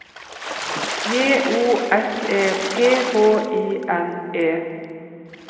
J O S E P H I N E